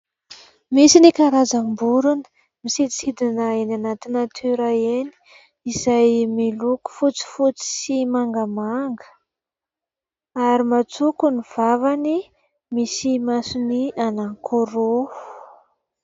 Misy ny karazam-borona, misidisidina eny anaty natiora eny, izay miloko fotsifotsy sy mangamanga ary matsoko ny vavany, misy masony anankiroa.